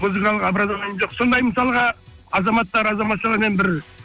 музыкалық образованием жоқ сондай мысалға азаматтар азаматшалармен бір